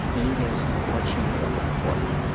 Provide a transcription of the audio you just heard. или в очень лёгкой форме